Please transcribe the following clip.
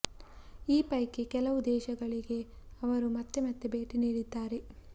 ಈ ಪೈಕಿ ಕೆಲವು ದೇಶಗಳಿಗೆ ಅವರು ಮತ್ತೆ ಮತ್ತೆ ಭೇಟಿ ನೀಡಿದ್ದಾರೆ